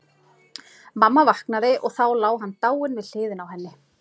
Mamma vaknaði og þá lá hann dáinn við hliðina á henni.